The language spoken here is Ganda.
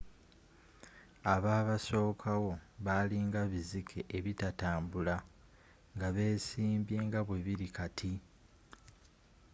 ababasokawo bali nga bizike ebitatambula nga byesimbye nga bwebili kati